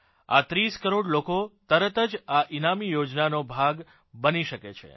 આ 30 કરોડ લોકો તરત જ આ ઇનામી યોજનાનો ભાગ બની શકે છે